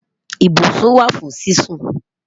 Ìbùṣún wà fún sísún